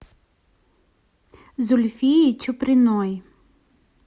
зульфии чуприной